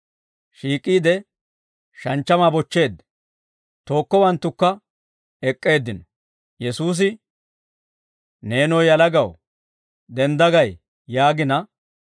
Shiik'iide shanchchamaa bochcheedda; tookkowanttukka ek'k'eeddino. Yesuusi, «Neenoo yalagaw, dendda gay!» yaagina,